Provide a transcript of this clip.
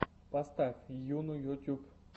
поставь йуну ютьюб